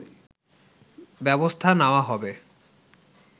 ব্যবস্থা নেওয়া হবে”